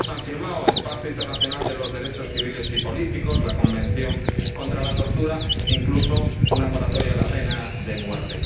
Y ellos han firmado el Pacto Internacional de Derechos Civiles y Políticos, la Convención contra la Tortura e incluso una moratoria de la pena de muerte.